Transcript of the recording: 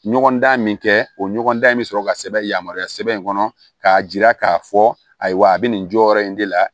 Ɲɔgɔn dan min kɛ o ɲɔgɔndan in bɛ sɔrɔ ka sɛbɛn yamaruya sɛbɛn in kɔnɔ k'a jira k'a fɔ ayiwa a bɛ nin jɔyɔrɔ in de la